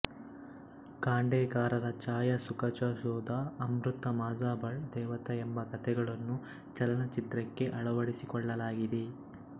ಖಾಂಡೇಕರರ ಛಾಯಾ ಸುಖಾಚಾ ಶೋಧ ಅಮೃತ ಮಾಝಬಾಳ್ ದೇವತಾ ಎಂಬ ಕಥೆಗಳನ್ನು ಚಲನಚಿತ್ರಕ್ಕೆ ಅಳವಡಿಸಿಕೊಳ್ಳಲಾಗಿದೆ